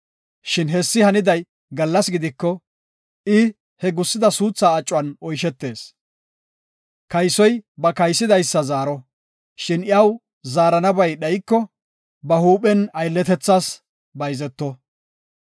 Shin hessi haniday gallas gidiko, I he gusida suuthaa acuwan oyshetees. Kaysoy ba kaysidaysa zaaro, shin iyaw zaaranabay dhayko ba huuphen aylletethas bayzeto.